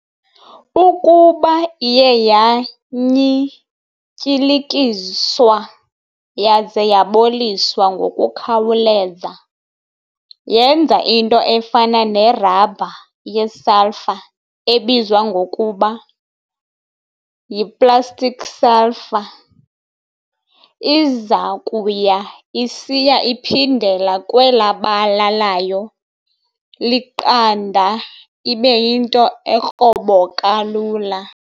Ukuba iye yanyityilikiswa yaza yaboliswa ngokukhawuleza, yenza into efana ne-rubber ye-sulphur ebizwa ngokuba y"i-plastic sulfur". Izakuya isiya iphindela kwela bala layo liqanda ibe yinto ekroboka lula.